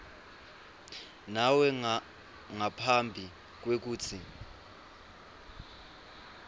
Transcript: nawe ngaphambi kwekutsi